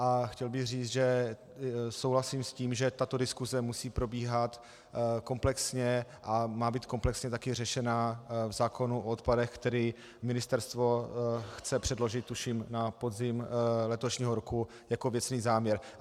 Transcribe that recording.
A chtěl bych říct, že souhlasím s tím, že tato diskuse musí probíhat komplexně a má být komplexně taky řešena v zákonu o odpadech, který ministerstvo chce předložit, tuším, na podzim letošního roku jako věcný záměr.